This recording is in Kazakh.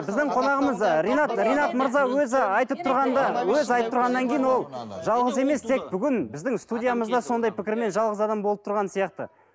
біздің қонағымыз ы ринат ринат мырза өзі айтып тұрғанда өзі айтып тұрғаннан кейін ол жалғыз емес тек бүгін біздің студиямызда сондай пікірмен жалғыз адам болып тұрған сияқты